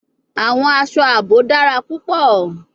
Awọn aṣọ aabo dara pupọ